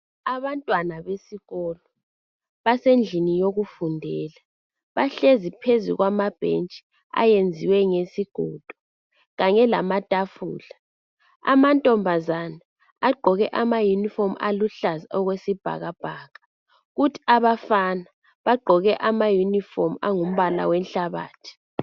Abantwana besikolo basendlini yokufundela bahlezi phezu kwamabhetshi ayenziwe ngesigodo kanye lamatafula ,amantombazane agqoke amaunformu aluhlaza okwesibhakabhaka kuthi abafana bagqoke ama iunifomu angumbala wenhlabathi.